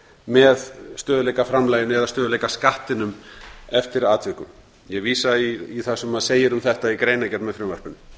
með stöðugleikaframlaginu eða stöðugleikaskattinum eftir atvikum ég vísa í það sem segir um þetta í greinargerð með frumvarpinu